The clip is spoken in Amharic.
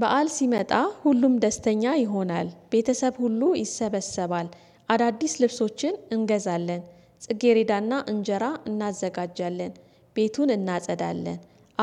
በዓል ሲመጣ ሁሉም ደስተኛ ይሆናል ቤተሰብ ሁሉ ይሰበሰባል። አዳዲስ ልብሶችን እንገዛለን። ጽጌሬዳና እንጀራ እናዘጋጃለን። ቤቱን እናጸዳለን።